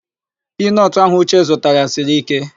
Piinọtụ ahụ Uche zụtara siri íké.